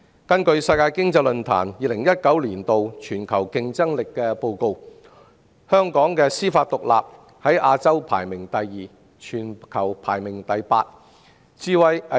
根據世界經濟論壇公布的《2019年全球競爭力報告》，香港的司法獨立在亞洲排名第二，全球排名第八。